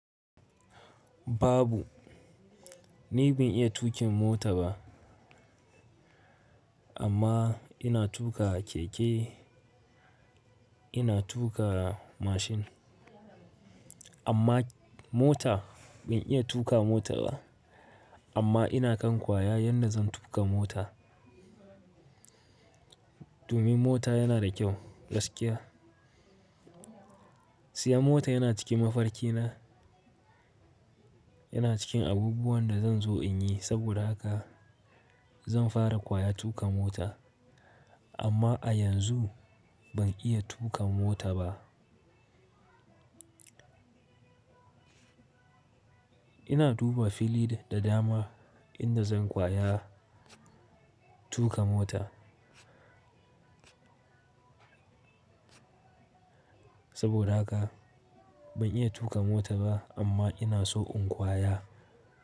Babu, ni ban iya tuƙin mota ba amma ina tuka keke ina tuka mashin, amma mota ban iya tuka mota ba. Amma ina kan kwaya yanda zan tuƙa mota. Domin mota yana da kyau gaskiya. Siya mota yana cikin mafarki na, yana cikin abubuwan da zan zo in yi saboda haka zan fara kwaya tuƙa mota amma a yanzu ban iya tuƙa mota ba. Ina duba fili da dama inda zan kwaya tuƙa mota. Saboda haka ban iya tuƙa mota ba amma ina so in kwaya.